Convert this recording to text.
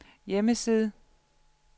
hjemmeside